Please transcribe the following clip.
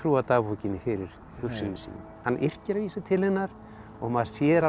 dagbókinni fyrir hugsunum sínum hann yrkir að vísu til hennar og maður sér alveg